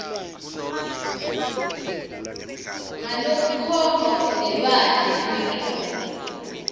ngalokukhomba budlelwane bemicondvo